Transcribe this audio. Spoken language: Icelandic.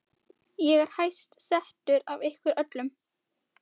Ég er hæst settur af ykkur öllum!